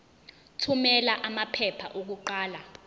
thumela amaphepha okuqala